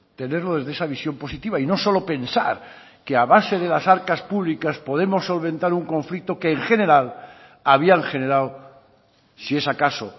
tenerlo desde esa visión positiva y no solo pensar que a base de las arcas públicas podemos solventar un conflicto que en general habían generado si es acaso